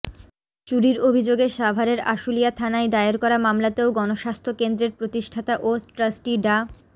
চুরির অভিযোগে সাভারের আশুলিয়া থানায় দায়ের করা মামলাতেও গণস্বাস্থ্য কেন্দ্রের প্রতিষ্ঠাতা ও ট্রাস্টি ডা